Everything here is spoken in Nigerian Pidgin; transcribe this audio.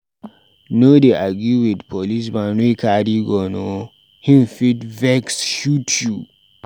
No dey argue wit policeman wey carry gun o, him fit vex shoot you.